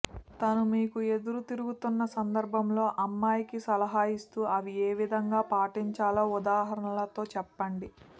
తను మీకు ఎదురు తిరుగుతున్న సందర్భంలో అమ్మాయికి సలహాలిస్తూ అవి ఏవిధంగా పాటించాలో ఉదాహరణలతో చెప్పండి